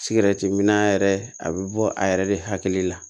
Sigɛrɛti mi na yɛrɛ a bɛ bɔ a yɛrɛ de hakili la